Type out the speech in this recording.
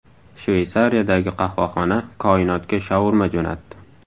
Shveysariyadagi qahvaxona koinotga shaurma jo‘natdi .